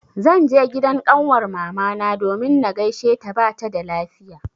Zan je gidan ƙanwar mamana domin na gaisheta bata da lafiya.